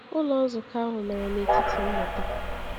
Ụlọ nzukọ ahụ mere n’etiti mmụta.